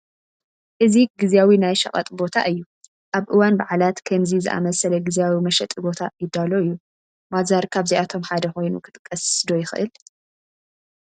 እዚ ግዚያዊ ናይ ሸቐጥ ቦታ እዩ፡፡ ኣብ እዋን በዓላት ከምዚ ዝኣምሰለ ግዚያዊ መሸጢ ቦታ ይዳሎ እዩ፡፡ ባዛር ካብዚኣቶ ሓደ ኮይኑ ክጥቀስ ዶ ይኽእል?